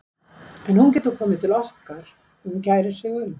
En hún getur komið til okkar ef hún kærir sig um.